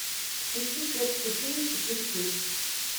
включи сербский фильм четыре кей